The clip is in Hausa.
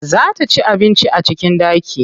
Za ta ci abinci a cikin ɗaki.